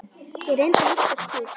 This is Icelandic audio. Ég reyndi að hugsa skýrt.